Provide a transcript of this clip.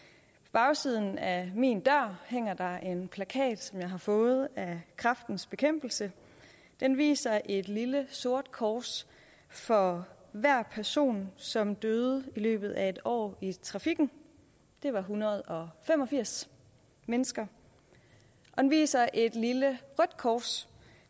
bagsiden af min dør hænger der en plakat som jeg har fået af kræftens bekæmpelse den viser et lille sort kors for hver person som døde i løbet af en år i trafikken det var en hundrede og fem og firs mennesker og den viser et lille rødt kors